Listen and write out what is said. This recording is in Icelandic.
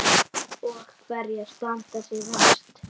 Og hverjar standa sig verst?